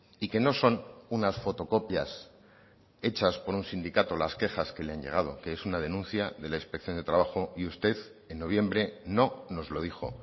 y que no son unas fotocopias hechas por un sindicato las quejas que le han llegado que es una denuncia de la inspección de trabajo y usted en noviembre no nos lo dijo